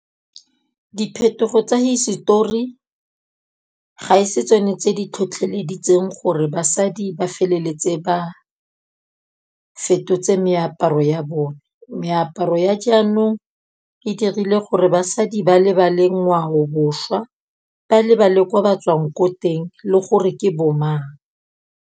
Diphetogo tsa hisetori, ga e se tsone tse di tlhotlheleditseng gore basadi ba feleletse ba fetotse meaparo go ya bone. Meaparo ya jaanong e dirile gore basadi ba lebale ngwaobošwa, ba lebale kwa ba tswang ko teng le gore ke bo mang.